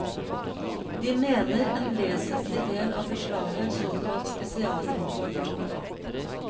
De mener en vesentlig del av beslaget er såkalt spesialimport.